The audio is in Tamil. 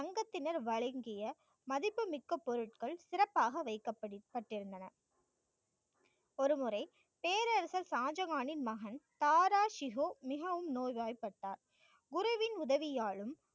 சங்கத்தினர் வழங்கிய, மதிப்புமிக்க பொருட்கள் சிறப்பாக வைக்கப்பட்டிருந்தன. ஒருமுறை, பேரரசர் ஷாஜகானின் மகன் தாராசிகோ மிகவும் நோய்வாய்ப்பட்டார் குருவின் உதவியாலும்,